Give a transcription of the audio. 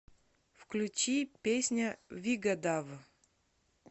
включи песня вигадав